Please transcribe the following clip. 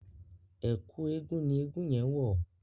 Ẹ̀kú eégun ni eégun yẹn wọ̀.